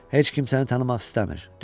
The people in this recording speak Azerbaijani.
Heç kim səni tanımaq istəmir.